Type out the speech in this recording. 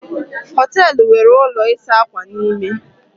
Hóteélụ̀ nwere ụlọ ịsa ákwà n'ime